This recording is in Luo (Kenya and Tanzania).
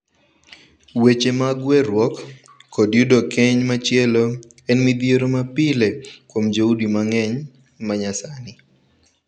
Weche mag weruok kod yudo keny machielo en midhiero ma pile kuom joudi mang'eny ma nyasani.